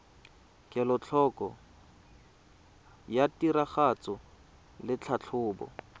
kelotlhoko ya tiragatso le tlhatlhobo